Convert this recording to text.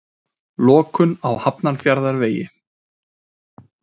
Lokun á Hafnarfjarðarvegi